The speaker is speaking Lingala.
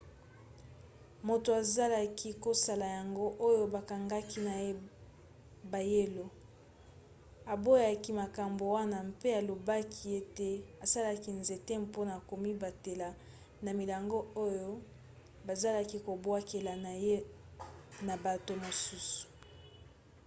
moto azalaki kosala yango oyo bakangaki na ebayelo aboyaki makambo wana mpe alobaki ete asalaki nzete mpona komibatela na milangi oyo bazalaki kobwakela ye na bato mosusu